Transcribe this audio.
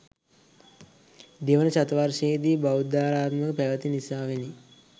දෙවන ශතවර්ශයේදි බෞද්ධාරාමයක් පැවති නිසාවෙනි.